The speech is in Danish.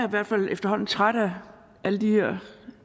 i hvert fald efterhånden træt af at alle de her